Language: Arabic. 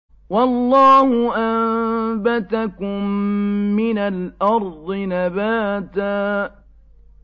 وَاللَّهُ أَنبَتَكُم مِّنَ الْأَرْضِ نَبَاتًا